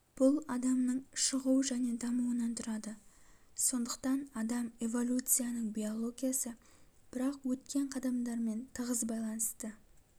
бұл адамның шығу және дамуынан тұрады сондықтан адам эволюцияның биологиясы бірақ өткен қадамдармен тығыз байланысты